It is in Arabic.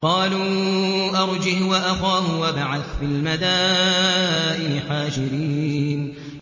قَالُوا أَرْجِهْ وَأَخَاهُ وَابْعَثْ فِي الْمَدَائِنِ حَاشِرِينَ